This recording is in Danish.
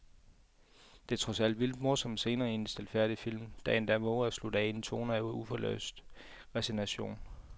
Der er trods vildt morsomme scener en stilfærdig film, der endda vover at slutte af i en tone af uforløst resignation.